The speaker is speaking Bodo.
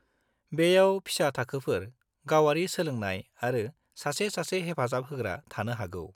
बेयाव फिसा थाखोफोर, गावारि सोलोंनाय आरो सासे-सासे हेफाजाब होग्रा थानो हागौ।